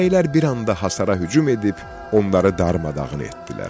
Bəylər bir anda hasara hücum edib, onları darmadağın etdilər.